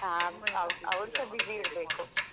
ಹಾ ಅವ್~ ಅವ್ರುಸ busy ಇರಬೇಕು.